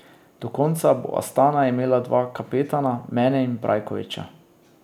Do konca bo Astana imela dva kapetana, mene in Brajkoviča.